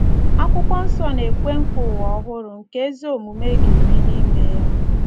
Akwụkwọ nsọ na - ekwe nkwa ụwa ọhụrụ nke ‘ ezi omume ga-ebi n’ime ya. ’